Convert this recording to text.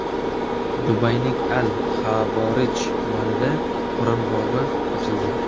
Dubayning Al - Xavorij tumanida Qur’on bog‘i ochildi.